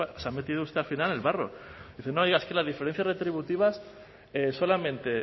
se ha metido usted al final en el barro dice no es que las diferencias retributivas solamente